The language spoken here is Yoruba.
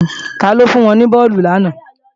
Taló fún wọn ní bọ́ọ̀lù làná